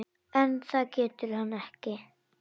En það getur hann ekki.